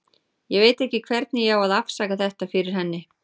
Ég veit ekki hvernig ég á að afsaka þetta fyrir henni.